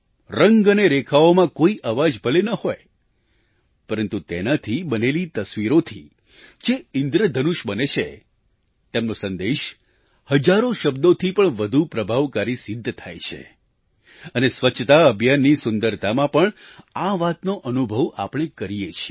રંગ અને રેખાઓમાં કોઈ અવાજ ભલે ન હોય પરંતુ તેનાથી બનેલી તસવીરોથી જે ઈન્દ્રધનુષ બને છે તેમનો સંદેશ હજારો શબ્દોથી પણ વધુ પ્રભાવકારી સિદ્ધ થાય છે અને સ્વચ્છતા અભિયાનની સુંદરતામાં પણ આ વાતનો અનુભવ આપણે કરીએ છીએ